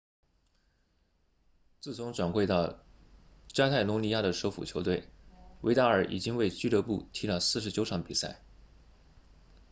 自从转会到加泰罗尼亚的首府球队维达尔已经为俱乐部踢了49场比赛